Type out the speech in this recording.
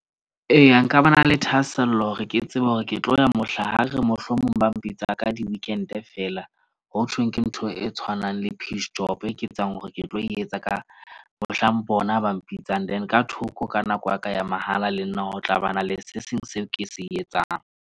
Eya, nka ba na le thahasello hore ke tsebe hore ke tlo ya mohla ha re re mohlomong ba mpitsa ka di-weekend-e feela. Ho tjhong, ke ntho e tshwanang le piece job e ke tsebang hore ke tlo etsa ka mohlang bona ba mpitsang. Then ka thoko ka nako ya ka ya mahala. Le nna ho tlabana le se seng seo ke se etsang.